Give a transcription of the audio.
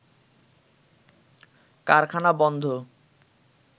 কারখানা বন্ধ